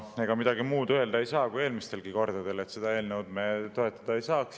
Ega midagi muud öelda ei saa kui eelmistelgi kordadel: seda eelnõu me toetada ei saa.